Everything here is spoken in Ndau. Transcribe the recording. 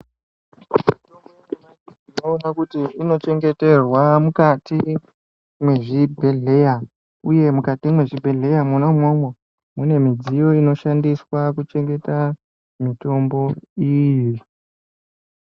Mitombo yanyamashi tinoona kuti inochengeterwa mukati mwezvibhedhleya uye mukati mwezvibhedhleya mwona umwomwo mune mudziyo inoshandiswa kuchengeta mutombo iyi.